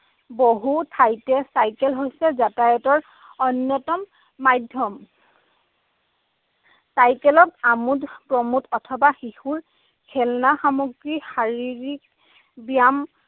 বহু ঠাইতে চাইকেল হৈছে যাতায়তৰ অন্যতম মাধ্যম। চাইকেলক আমোদ প্ৰমোদ অথবা শিশুৰ খেলনা সামগ্ৰী, শাৰীৰিক ব্যায়াম